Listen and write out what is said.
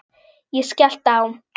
Ég skellti á.